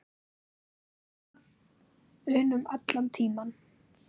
unum allan tímann.